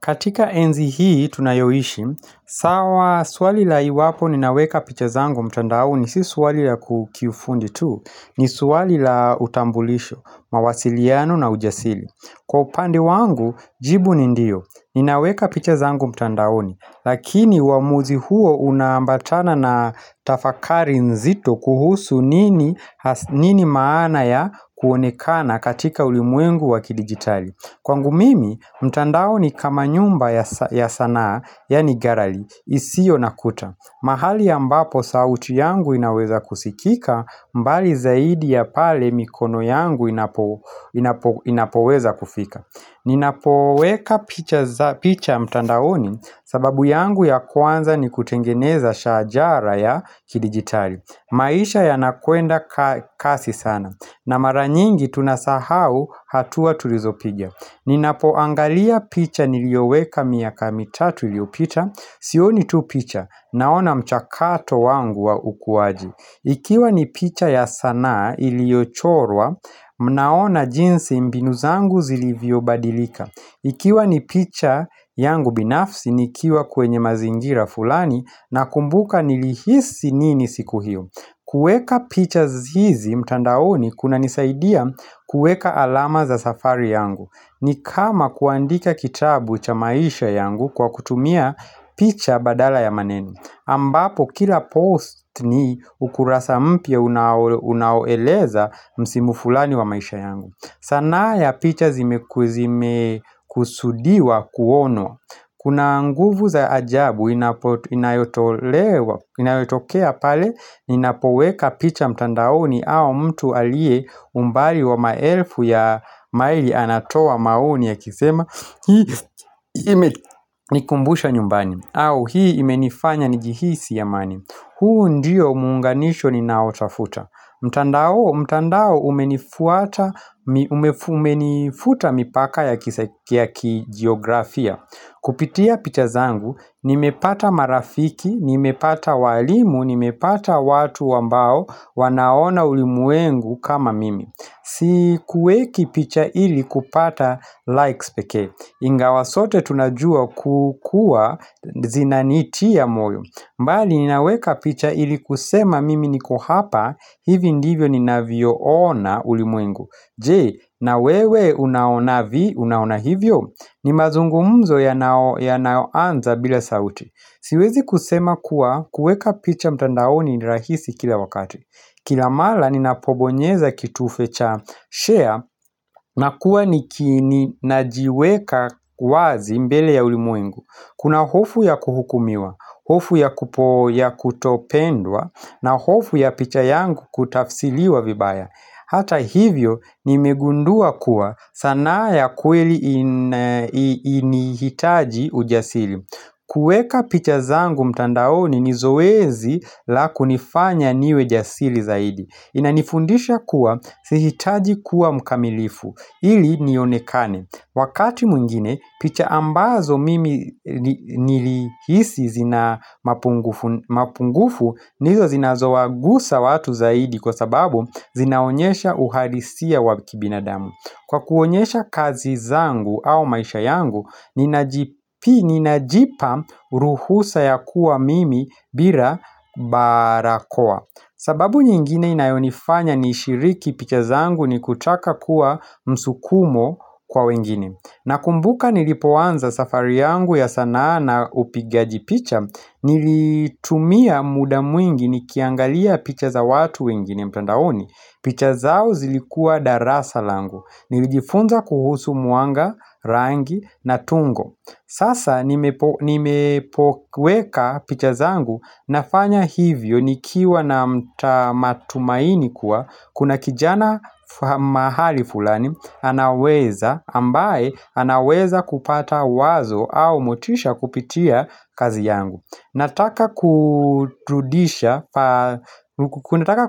Katika enzi hii tunayoishi, sawa swali la iwapo ninaweka picha zangu mtandaoni, si swali la kukifundi tu, ni swali la utambulisho, mawasiliano na ujasili. Kwa upande wangu, jibu ni ndio, ninaweka picha zangu mtandaoni, lakini wamuzi huo unambatana na tafakari nzito kuhusu nini maana ya kuonekana katika ulimwengu wakidigitali. Kwangu mimi, mtandao ni kama nyumba ya sanaa, yani garali, isio nakuta mahali ya mbapo sauti yangu inaweza kusikika, mbali zaidi ya pale mikono yangu inapoweza kufika Ninapoweka picha mtandaoni sababu yangu ya kwanza ni kutengeneza shajara ya kidigitali maisha yanakuenda kasi sana, na maranyingi tunasahau hatua tulizopigya Ninapoangalia picha nilioweka miaka mitatu iliopita Sioni tu picha naona mchakato wangu wa ukuwaji Ikiwa ni picha ya sana iliyochorwa Mnaona jinsi mbinu zangu zilivyo badilika Ikiwa ni picha yangu binafsi nikiwa kwenye mazingira fulani Nakumbuka nilihisi nini siku hiyo kueka picha zizi mtandaoni kuna nisaidia kueka alama za safari yangu ni kama kuandika kitabu cha maisha yangu kwa kutumia picha badala ya maneno ambapo kila post ni ukurasa mpia unaoeleza msimu fulani wa maisha yangu sanaa ya picha zime kusudiwa kuonwa Kuna nguvu za ajabu inayotokea pale Ninapoweka picha mtandaoni au mtu alie umbali wa maelfu ya maili anatoa maoni yakisema Hii imenikumbusha nyumbani au hii imenifanya njihisi yamani huu ndiyo muunganisho ninaotafuta mtandao umenifuta mipaka ya kisaki geografia Kupitia picha zangu, nimepata marafiki, nimepata walimu, nimepata watu wambao wanaona ulimuengu kama mimi Sikuweki picha ili kupata likes peke Ingawa sote tunajua kukua zina nitiya moyo mbali ninaweka picha ili kusema mimi niko hapa, hivi ndivyo ni navio ona ulimuengu Jee, na wewe unaona vi, unaona hivyo? Ni mazungumzo yanao anza bila sauti Siwezi kusema kuwa kuweka picha mtandaoni rahisi kila wakati Kila mala ninapobonyeza kitufe cha share nakuwa nikini najiweka wazi mbele ya ulimuengu Kuna hofu ya kuhukumiwa hofu ya kupo ya kutopendwa na hofu ya picha yangu kutafsiliwa vibaya Hata hivyo nimegundua kuwa sana ya kweli ni hitaji ujasili kueka picha zangu mtandaoni ni zoezi la kunifanya niwejasili zaidi Inanifundisha kuwa si hitaji kuwa mkamilifu ili nionekane Wakati muingine picha ambazo mimi nilihisi zina mapungufu ndizo zinazoagusa watu zaidi kwa sababu zinaonyesha uhalisia waki binadamu Kwa kuonyesha kazi zangu au maisha yangu, ninajipa ruhusa ya kuwa mimi bila barakoa. Sababu nyingine inayonifanya ni shiriki picha zangu ni kutaka kuwa msukumo kwa wengini. Nakumbuka nilipoanza safari yangu ya sana na upigaji picha, nilitumia muda mwingi nikiangalia picha za watu wengini mtandaoni. Picha zao zilikua darasa langu. Nilijifunza kuhusu muanga, rangi na tungo. Sasa nimepoweka picha zangu nafanya hivyo nikiwa na matumaini kuwa. Kuna kijana mahali fulani anaweza ambaye anaweza kupata wazo au motisha kupitia kazi yangu. Nataka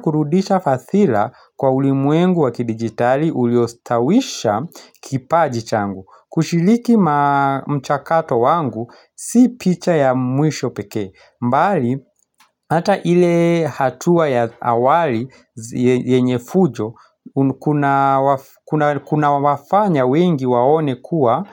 kurudisha fathila kwa ulimwengu wakidigitali uliostawisha kipaji changu Kushiliki mchakato wangu si picha ya mwisho peke mbali ata ile hatua ya awali yenye fujo kunawafanya wengi waone kuwa.